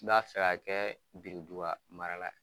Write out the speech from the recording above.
N'ba fɛ ka kɛ biritunba mara la ye